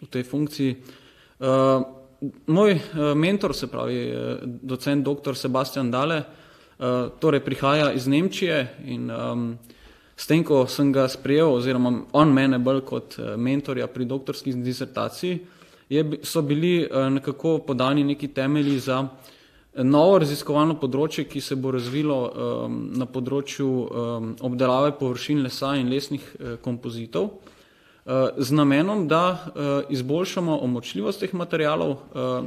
v tej funkciji. moj, mentor, se pravi, docent doktor Sebastian Dale, torej prihaja iz Nemčije in, s tem, ko sem ga sprejel oziroma on mene bolj kot, mentorja pri doktorski disertaciji, je so bili, nekako podani neki temelji za, novo raziskovalno področje, ki se bo razvilo, na področju, obdelave površin lesa in, lesnih kompozitov, z namenom, da, izboljšamo omočljivost teh materialov,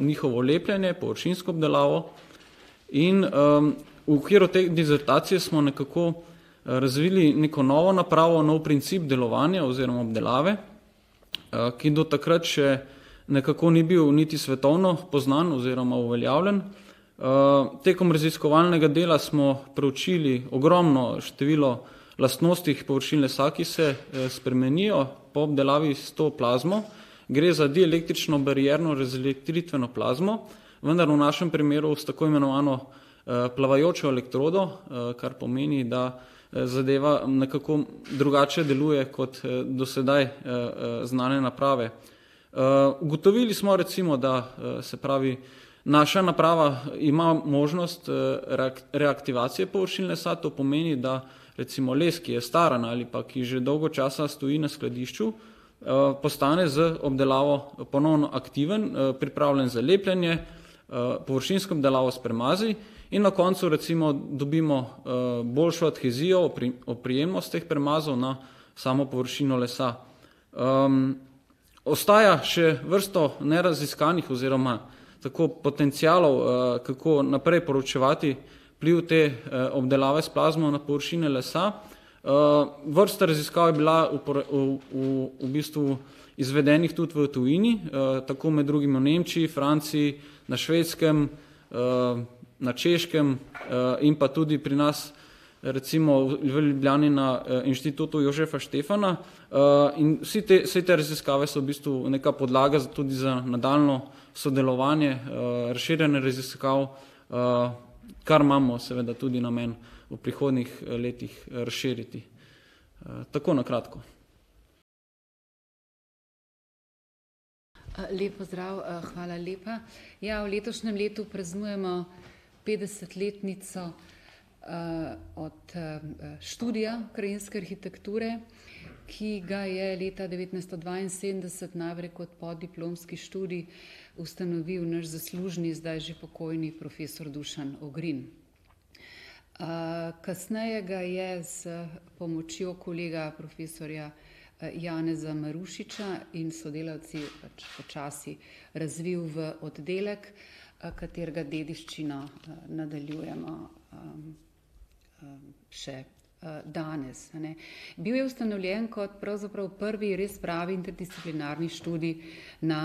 njihovo lepljenje, površinsko obdelavo in, v okviru te dizertacije smo nekako, razvili neko novo napravo, nov princip delovanja oziroma obdelave, ki do takrat še nekako ni bil niti svetovno poznan oziroma uveljavljen. tekom raziskovalnega dela smo preučili ogromno število lastnosti površin lesa, ki se spremenijo po obdelavi s to plazmo. Gre za dialektično barierno razelektritveno plazmo, vendar v našim primeru s tako imenovano, plavajočo elektrodo, kar pomeni, da zadeva nekako drugače deluje kot, do sedaj, znane naprave. ugotovili smo recimo, da, se pravi, naša naprava ima možnost, reaktivacije površin lesa. To pomeni, da recimo les, ki je staran ali pa ki že dolgo časa stoji na skladišču, postane z obdelavo ponovno aktiven, pripravljen za lepljenje, površinsko obdelavo s premazi in na koncu recimo dobimo, boljšo adhezijo oprijemnost teh premazov na samo površino lesa. ostaja še vrsto neraziskanih oziroma tako potencialov, kako naprej proučevati vpliv te, obdelave s plazmo na površine lesa. vrsta raziskav je bila v bistvu izvedenih tudi v tujini, tako med drugimi v Nemčiji, Franciji, na Švedskem, na Češkem in, pa tudi pri nas. Recimo v Ljubljani na Inštitutu Jozefa Stefana, in vsi te, vse te raziskave so v bistvu neka podlaga tudi za nadaljnjo sodelovanje, razširjenje raziskav, kar imamo seveda tudi namen v prihodnjih letih razširiti. tako na kratko. lep pozdrav. hvala lepa. Ja, v letošnjem letu praznujemo petdesetletnico, od, študija krajinske arhitekture, ki ga je leta devetnajsto dvainsedemdeset najprej kot podiplomski študij ustanovil naš zaslužni, zdaj že pokojni profesor Dušan Ogrin. kasneje ga je s pomočjo kolega profesorja, Janeza Marušiča in sodelavci pač počasi razvil v oddelek, katerega dediščino, nadaljujemo, še, danes, a ne. Bil je ustanovljen kot pravzaprav prvi res pravi interdisciplinarni študij na,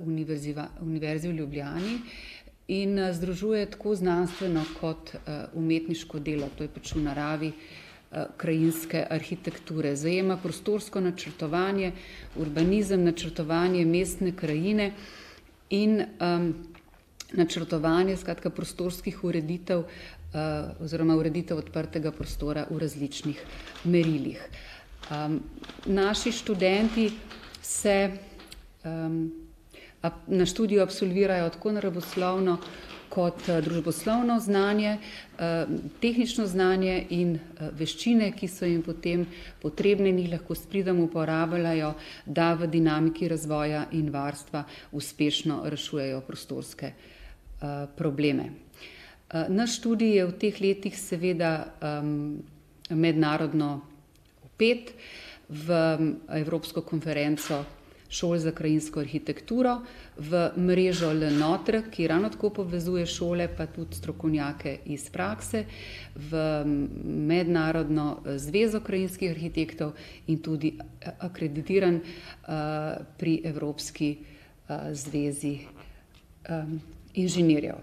Univerzi v Ljubljani in združuje tako znanstveno kot, umetniško delo. To je pač v naravi, krajinske arhitekture. Zajema prostorsko načrtovanje, urbanizem, načrtovanje mestne krajine in, načrtovanje skratka prostorskih ureditev, oziroma ureditev odprtega prostora v različnih merilih. naši študenti se, na študiju absolvirajo tako naravoslovno kot, družboslovno znanje, tehnično znanje in, veščine, ki so jim potem potrebne in jih lahko s pridom uporabljajo, da v dinamiki razvoja in varstva uspešno rešujejo prostorske, probleme. naš študij je v teh letih seveda, mednarodno vpet v evropsko konferenco šol za krajinsko arhitekturo. V mrežo Le Notre, ki ravno tako povezuje šole pa tudi strokovnjake iz prakse v mednarodno, zvezo krajinskih arhitektov in tudi akreditiran, pri Evropski, zvezi, inženirjev.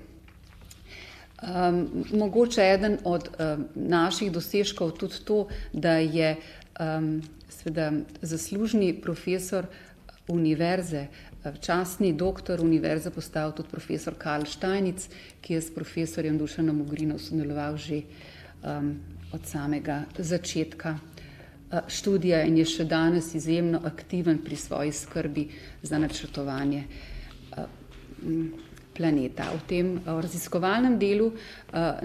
mogoče eden od, naših dosežkov tudi to, da je, seveda zaslužni profesor univerze, častni doktor univerze postal tudi profesor Kal Steinitz, ki je s profesorjem Dušanom Ogrinom sodeloval že, od samega začetka, študija in je še danes izjemno aktiven pri svoji skrbi za načrtovanje, planeta. O tem, o raziskovalnem delu,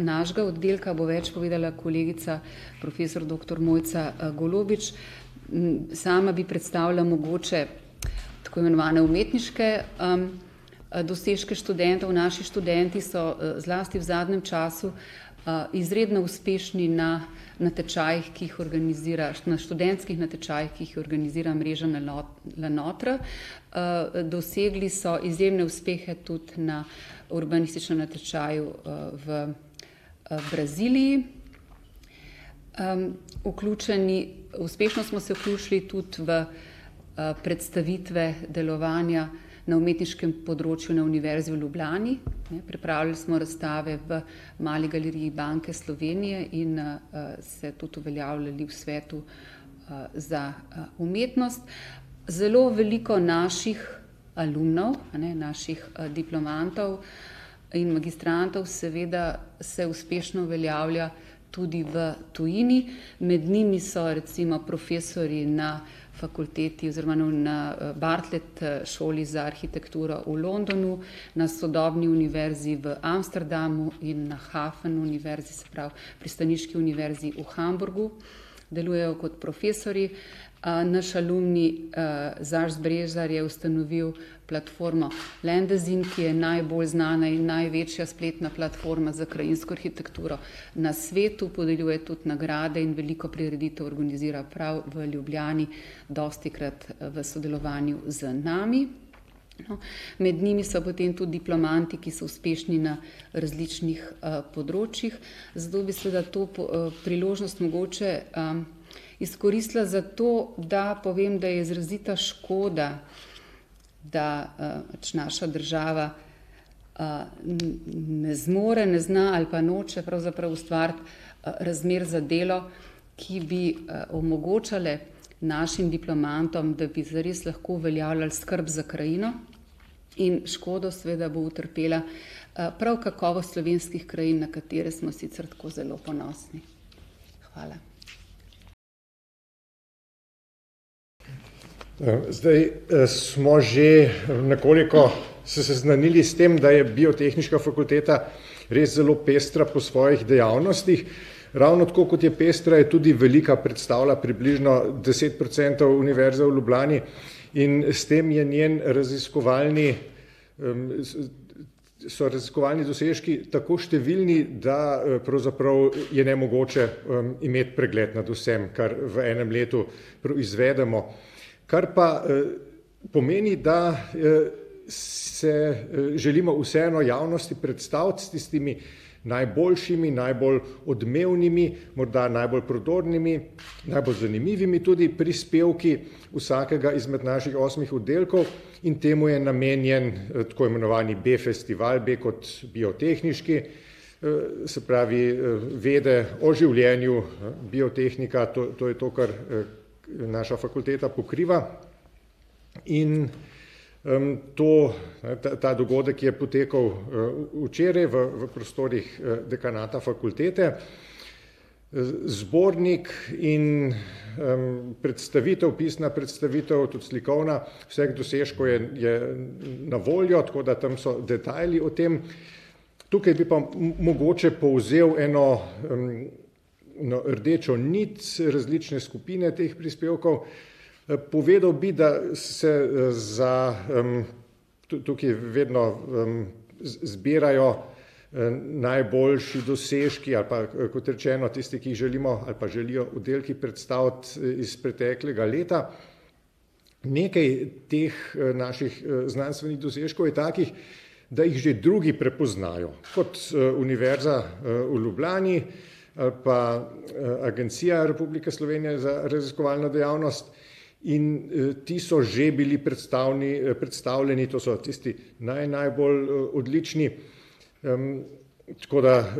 našega oddelka bo več povedala kolegica profesor doktor Mojca, Golobič, sama bi predstavila mogoče tako imenovane umetniške, dosežke študentov. Naši študenti so, zlasti v zadnjem času, izredno uspešni na natečajih, ki jih organizira, na študentskih natečajih, ki jih organizira mreža Le Notre, dosegli so izjemne uspehe tudi na urbanističnem natečaju, v, Braziliji. vključni, uspešno smo se vključili tudi v, predstavitve delovanja na umetniškem področju na Univerzi v Ljubljani, ne, pripravili smo razstave v Mali galeriji Banke Slovenije in, se tudi uveljavljali v svetu, za, umetnost. Zelo veliko naših alumnov, a ne, naših, diplomantov in magistrantov seveda se uspešno uveljavlja tudi v tujini, med njimi so recimo profesorji na fakulteti oziroma na na, Bartlet šoli za arhitekturo v Londonu, na sodobni Univerzi v Amsterdamu in na Hafen univerzi, se pravi pristaniški Univerzi v Hamburgu. Delujejo kot profesorji, naš alumni, Brezar je ustanovil platformo Lendezin, ki je najbolj znana in največja spletna platforma za krajinsko arhitekturo na svetu. Podeljuje tudi nagrade in veliko prireditev organizira prav v Ljubljani, dostikrat v sodelovanju z nami. Med njimi so potem tudi diplomanti, ki so uspešni na različnih, področjih. Zato v bistvu, da to priložnost mogoče, izkoristila zato, da povem, da je izrazita škoda, da, pač naša država, ne zmore, ne zna, ali pa noče pravzaprav ustvariti, razmer za delo, ki bi, omogočale našim diplomantom, da bi zares lahko uveljavljal skrb za krajino. In škodo seveda bo utrpela, prav kakovost slovenskih krajin, na katere smo sicer tako zelo ponosni. Hvala. zdaj, smo, že nekoliko se seznanili s tem, da je Biotehniška fakulteta res zelo pestra po svojih dejavnostih. Ravno tako, kot je pestra, je tudi velika, predstavlja približno deset procentov Univerze v Ljubljani in s tem je njen raziskovalni, so raziskovalni dosežki tako številni, da, pravzaprav je nemogoče, imeti pregled nad vsem, kar v enem letu proizvedemo. Kar pa, pomeni, da, se, želimo vseeno javnosti predstaviti s tistimi najboljšimi, najbolj odmevnimi, morda najbolj prodornimi, najbolj zanimivi tudi prispevki vsakega izmed našim osmih oddelkov. In temu je namenjen tako imenovani BF-festival, B kot biotehniški, se pravi, vede o življenju. Biotehnika to je to, kar, naša fakulteta pokriva in, to, ta, ta dogodek je potekal, včeraj v prostorih, dekanata fakultete. zbornik in, predstavitev, pisna predstavitev, tudi slikovna, vseh dosežkov je, je na voljo, tako da tam so detajli o tem. Tukaj bi pa mogoče povzel eno, no, rdečo nit, saj različne skupine teh prispevkov. povedal, bi, da se, za, tudi tukaj vedno, zbirajo, najboljši dosežki ali pa, kot rečeno tisti, ki želimo ali pa želijo oddelki predstaviti iz preteklega leta, nekaj teh, naših, znanstvenih dosežkov je takih, da jih že drugi prepoznajo, kot, Univerza, v Ljubljani, pa, Agencija Republike Slovenije za raziskovalno dejavnost in, ti so že bili predstavljeni, to so tisti naj najbolj, odlični, tako da,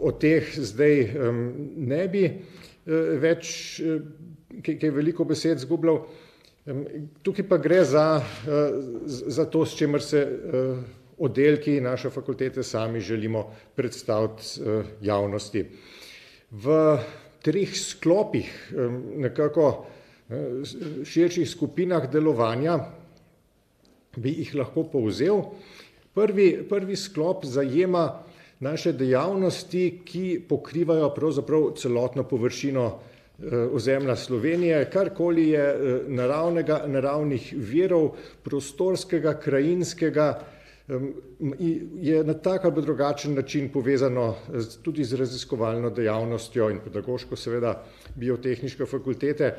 o teh zdaj, ne bi, več, kaj, kaj veliko besed izgubljal. tukaj pa gre za, za to, s čimer se, oddelki naše fakultete sami želimo predstaviti, javnosti. V treh sklopih, nekako, širših skupinah delovanja bi jih lahko povzel, prvi, prvi sklop zajema naše dejavnosti, ki pokrivajo pravzaprav celotno površino, ozemlja Slovenije. Karkoli je, naravnega, naravnih virov, prostorskega, krajinskega, je na tak ali pa drugačen način povezano z tudi z raziskovalno dejavnostjo, in pedagoško seveda, Biotehniške fakultete.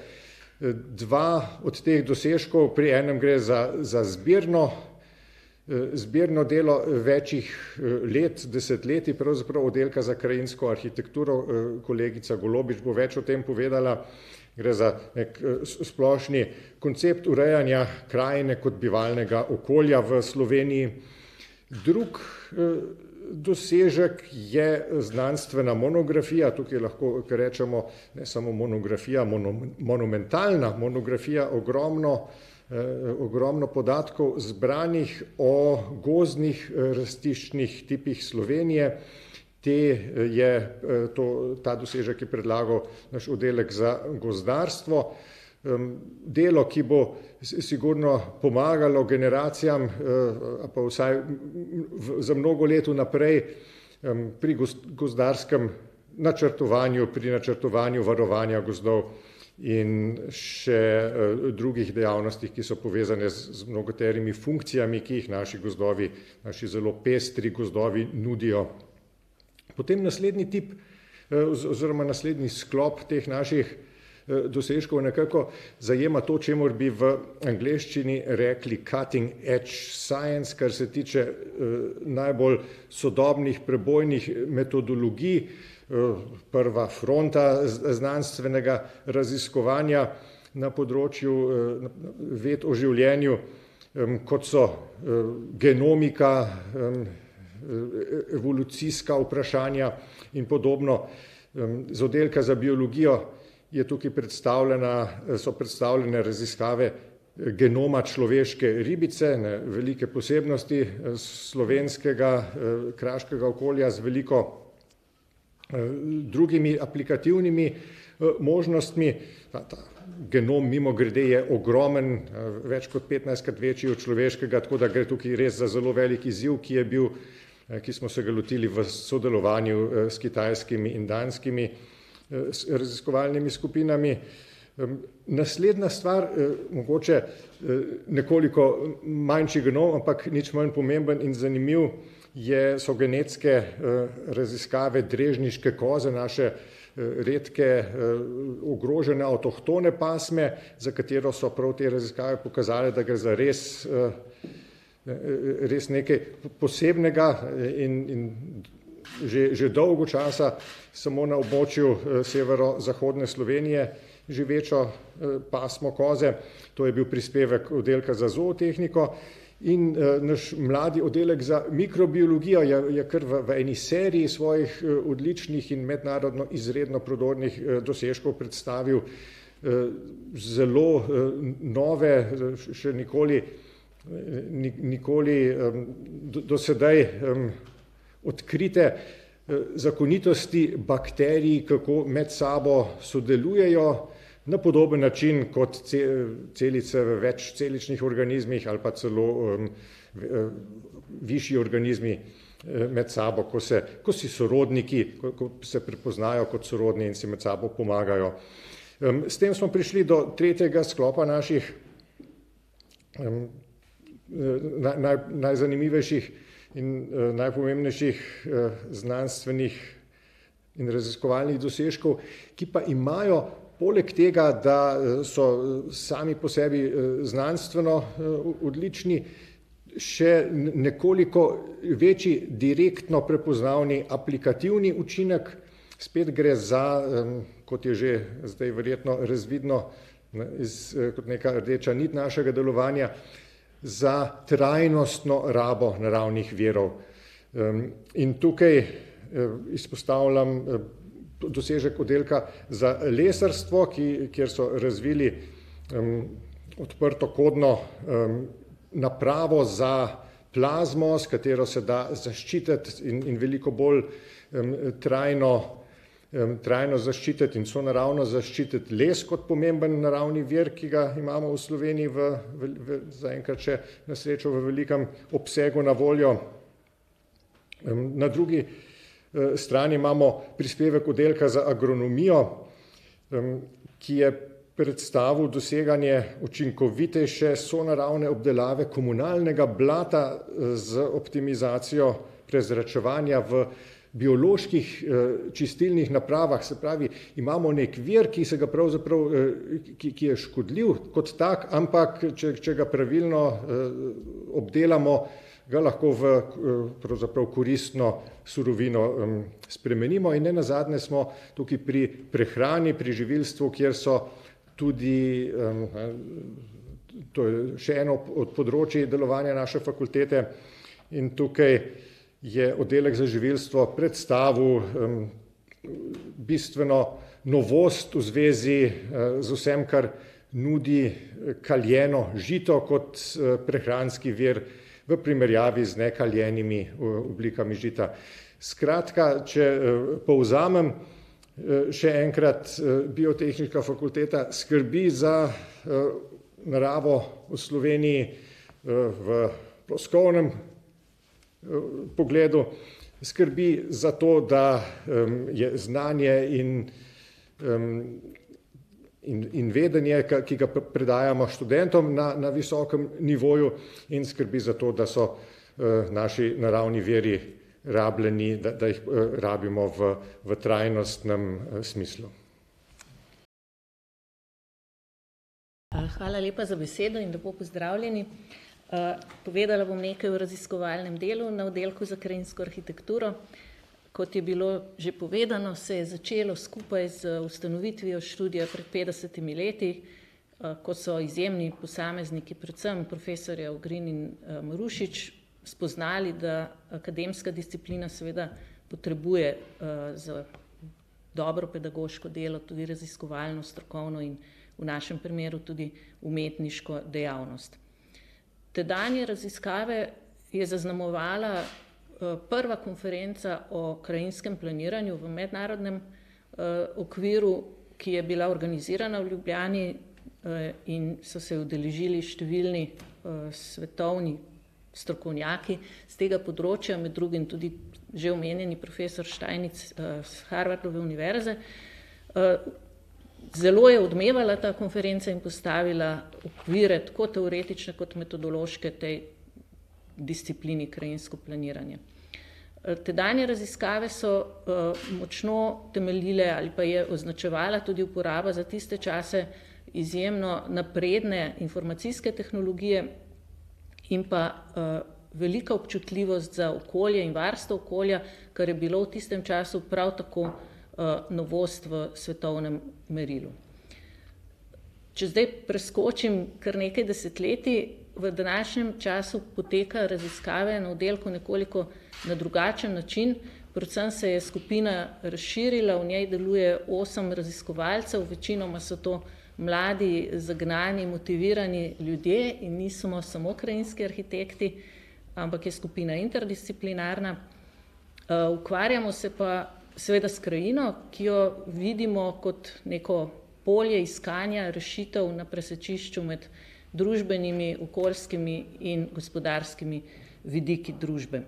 dva od teh dosežkov, pri enem gre za, za zbirno, zbirno delo večih, let, desetletij pravzaprav, Oddelka za krajinsko arhitekturo. kolegica Golobič bo več o tem povedala. Gre za neki, splošni koncept urejanja krajine kot bivalnega okolja v Sloveniji. Drug, dosežek je, znanstvena monografija, tukaj lahko rečemo, ne samo monografija, monumentalna monografija, ogromno, ogromno podatkov, zbranih o gozdnih, rastiščnih tipih Slovenije. Te je, to ta dosežek je predlagal naš oddelek za gozdarstvo, delo, ki bo sigurno pomagalo generacijam, ali pa vsaj za mnogo let vnaprej, pri gozdarskem načrtovanju, pri načrtovanju varovanja gozdov in še, drugih dejavnostih, ki so povezane z mnogoterimi funkcijami, ki jih naši gozdovi, naši zelo pestri gozdovi nudijo. Potem naslednji tip, oziroma naslednji sklop teh naših, dosežkov nekako zajema to, čemur bi v angleščini rekli cutting edge science, kar se tiče, najbolj, sodobnih, prebojnih metodologij, prva fronta znanstvenega raziskovanja na področju, ved o življenju, kot so, genomika, evolucijska vprašanja in podobno. z Oddelka za biologijo je tukaj predstavljena, so predstavljene raziskave, genoma človeške ribice, ne, velike posebnosti, slovenskega, kraškega okolja z veliko, drugimi aplikativnimi, možnostmi. ta genom, mimogrede, je ogromen, več kot petnajstkrat večji od človeškega, tako da gre tukaj res za zelo velik izziv, ki je bil, ki smo se ga lotili v sodelovanju, s kitajskimi in danskimi, raziskovalnimi skupinami. naslednja, stvar mogoče, nekoliko manjši genom, ampak nič manj pomemben in zanimiv, je, so genetske, raziskave drežniške koze naše, redke, ogrožene avtohtone pasme, za katero so prav te raziskave pokazale, da gre za res, res nekaj posebnega, in, in že, že dolgo časa samo na območju severozahodne Slovenije živečo, pasmo koze. To je bil prispevek Oddelka za zootehniko in, naš mladi Oddelek za mikrobiologijo je, je kar v, v eni seriji svojih, odličnih in mednarodno izredno prodornih dosežkov predstavil, zelo, nove, še nikoli, nikoli, do sedaj, odkrite, zakonitosti bakterij, kako med sabo sodelujejo na podoben način kot celice v večceličnih organizmih ali pa celo, višji organizmi, med sabo ko se, ko si sorodniki, ko, ko se prepoznajo kot sorodni in si med sabo pomagajo. s tem smo prišli do tretjega sklopa naših, najzanimivejših in, najpomembnejših, znanstvenih in raziskovalnih dosežkov, ki pa imajo poleg tega, da, so, sami po sebi, znanstveno, odlični, še nekoliko večji direktno prepoznavni aplikativni učinek. Spet gre za, kot je že zdaj verjetno razvidno, ne, iz kot neka rdeča niti našega delovanja, za trajnostno rabo naravnih virov. in tukaj, izpostavljam, dosežek Oddelka za lesarstvo, ki, kjer so razvili, odprtokodno, napravo za plazmo, s katero se da zaščititi in, in veliko bolj, trajno, trajno zaščititi in sonaravno zaščititi les kot pomemben naravni vir, ki ga imamo v Sloveniji v, v, v zaenkrat še na srečo v velikem obsegu na voljo. na drugi, strani imamo prispevek Oddelka za agronomijo, ki je predstavil doseganje učinkovitejše sonaravne obdelave komunalnega blata z optimizacijo prezračevanja v bioloških, čistilnih napravah, se pravi, imamo neki vir, ki se ga pravzaprav, ki, ki je škodljiv kot tak, ampak če, če ga pravilno, obdelamo, ga lahko v, pravzaprav koristno surovino, spremenimo in nenazadnje smo tukaj pri prehrani, pri živilstvu, kjer so tudi, to je še eno od, od področij delovanja naše fakultete in tukaj je oddelek za živilstvo predstavil, bistveno novost v zvezi, z vsem, kar nudi kaljeno žito kot, prehranski vir v primerjavi z nekaljenimi oblikami žita. Skratka, če, povzamem, še enkrat, Biotehniška fakulteta skrbi za, naravo v Sloveniji, v ploskovnem, pogledu. Skrbi za to, da, je znanje in, in, in vedenje, ke, ki ga predajamo študentom, na, na visokem nivoju in skrbi za to, da so, naši naravni viri rabljeni, da, da jih, rabimo v v trajnostnem, smislu. hvala lepa za besedo in lepo pozdravljeni. povedala bom nekaj o raziskovalnem delu na Oddelku za krajinsko arhitekturo. Kot je bilo že povedano, se je začelo skupaj z ustanovitvijo študija pred petdesetimi leti, ko so izjemni posamezniki, predvsem profesorja Ogrin in Marušič, spoznali, da akademska disciplina seveda potrebuje, za dobro pedagoško delo tudi raziskovalno, strokovno in v našem primeru tudi umetniško dejavnost. Tedanje raziskave je zaznamovala, prva konferenca o krajinskem planiranju v mednarodnem, okviru, ki je bila organizirana v Ljubljani, in so se je udeležili številni, svetovni strokovnjaki s tega področja, med drugim tudi že omenjeni profesor Steinitz s Harvard univerze. zelo je odmevala ta konferenca in postavila okvire tako teoretične kot metodološke tej disciplini krajinsko planiranje. tedanje raziskave so, močno temeljile ali pa je označevala tudi uporaba za tiste čase izjemno napredne informacijske tehnologije in pa, velika občutljivost za okolje in varstvo okolja, kar je bilo v tistem času prav tako, novost v svetovnem merilu. Če zdaj preskočim kar nekaj desetletij, v današnjem času potekajo raziskave na oddelku nekoliko na drugačen način, predvsem se je skupina razširila, v njej deluje osem raziskovalcev. Večinoma so to mladi, zagnani, motivirani ljudje in nismo samo krajinski arhitekti, ampak je skupina interdisciplinarna. ukvarjamo se pa seveda s krajino, ki jo vidimo kot neko polje iskanja rešitev na presečišču med družbenimi, okoljskimi in gospodarskimi vidiki družbe.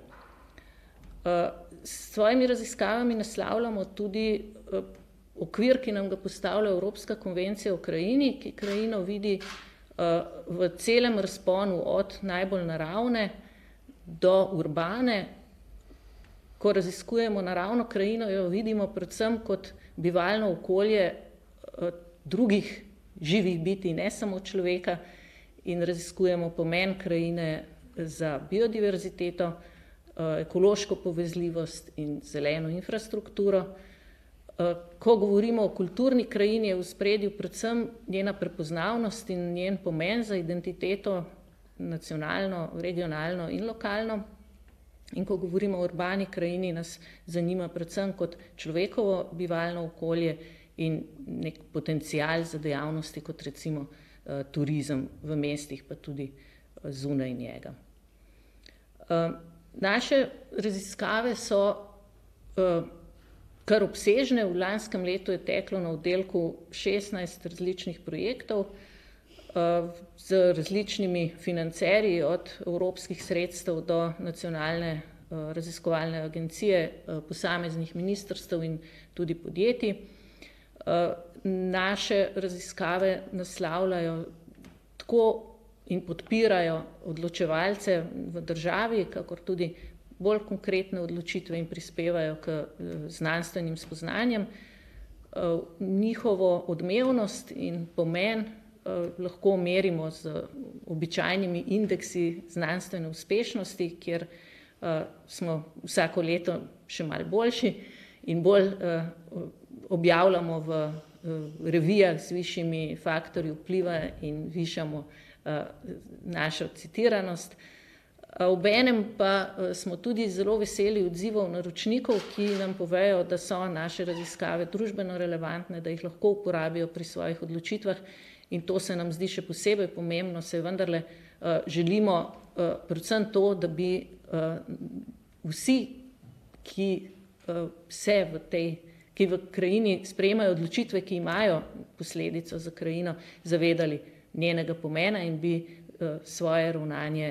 s svojimi raziskavami naslavljamo tudi, okvir, ki nam ga postavlja Evropska konvencija o krajini, ki krajino vidi, v celem razponu, od najbolj naravne do urbane. Ko raziskujemo naravno krajino, jo vidimo predvsem kot bivalno okolje, drugih živih bitij, ne samo človeka, in raziskujemo pomen krajine za biodiverziteto, ekološko povezljivost in zeleno infrastrukturo. ko govorimo o kulturni krajini, je v ospredju predvsem njena prepoznavnost in njen pomen za identiteto, nacionalno, regionalno in lokalno. In ko govorimo o urbani krajini, nas zanima predvsem kot človekovo bivalno okolje in neki potencial za dejavnosti kot recimo, turizem v mestih pa tudi, zunaj njega. naše raziskave so, kar obsežne, v lanskem letu je teklo na oddelku šestnajst različnih projektov. z različnimi financerji, od evropskih sredstev do nacionalne, raziskovalne agencije, posameznih ministrstev in tudi podjetij. naše raziskave naslavljajo tako in podpirajo odločevalce v državi kakor tudi bolj konkretne odločitve in prispevajo k, znanstvenim spoznanjem. njihovo odmevnost in pomen, lahko merimo z običajnimi indeksi znanstvene uspešnosti, kjer, smo vsako leto še malo boljši in bolj, objavljamo v, v revijah z višjimi faktorji vpliva in višamo, našo citiranost, obenem pa, smo tudi zelo veseli odzivov naročnikov, ki nam povejo, da so naše raziskave družbeno relevantne, da jih lahko uporabijo pri svojih odločitvah, in to se nam zdi še posebej pomembno, saj vendarle, želimo, predvsem to, da bi, vsi, ki, se v tej, ki v krajini sprejemajo odločitve, ki imajo posledico za krajino, zavedali njenega pomena in bi, svoje ravnanje,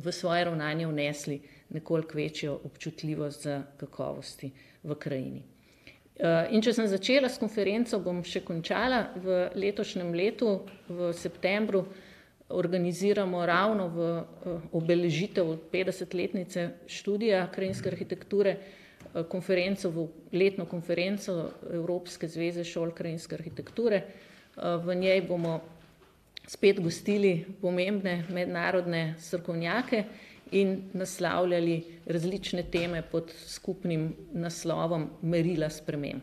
v svoje ravnaje vnesli nekoliko večjo občutljivost za kakovosti v krajini. in če sem že začela s konferenco, bom še končala, v letošnjem letu v septembru organiziramo ravno v, obeležitev petdesetletnice študija krajinske arhitekture. konferenco, v letno konferenco, Evropske zveze šol krajinske arhitekture. v njej bomo spet gostili pomembne mednarodne strokovnjake in naslavljali različne teme pod skupnim naslovom merila sprememb.